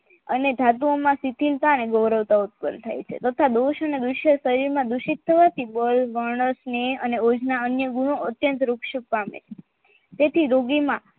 અને ધાતુઓમાં શિથિલતા અને અવરોધતા ઉત્પન્ન થાય છે તથા દોશ ને વિશ્ય શરીર ના દુષિત થયા થી લોઈ વર્ણસ ની યોજના અન્ય ગુણો અત્યંત વૃક્ષિત પામે તેથી રોગીમાં